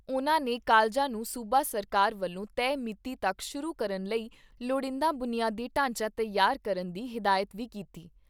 ਉਨ੍ਹਾਂ ਨੇ ਕਾਲਜਾਂ ਨੂੰ ਸੂਬਾ ਸਰਕਾਰ ਵੱਲੋਂ ਤੈਅ ਮਿਤੀ ਤੱਕ ਸ਼ੁਰੂ ਕਰਨ ਲਈ ਲੋੜੀਂਦਾ ਬੁਨਿਆਦੀ ਢਾਂਚਾ ਤਿਆਰ ਕਰਨ ਦੀ ਹਿਦਾਇਤ ਵੀ ਕੀਤੀ।